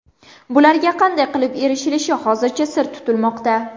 Bularga qanday qilib erishilishi hozircha sir tutilmoqda.